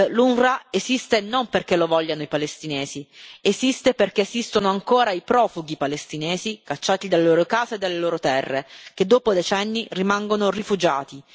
L'UNRWA esiste non perché lo vogliano i palestinesi, esiste perché esistono ancora i profughi palestinesi, cacciati dalle loro case e dalle loro terre, che dopo decenni rimangono rifugiati.